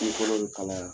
Kun fɔlɔ bɛ kalaya